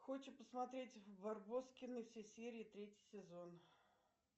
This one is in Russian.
хочет посмотреть барбоскины все серии третий сезон